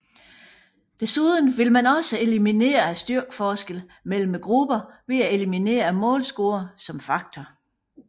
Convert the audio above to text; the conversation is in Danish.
Desuden ville man også eliminere styrkeforskellen mellem grupperne ved at eliminere målscoren som faktor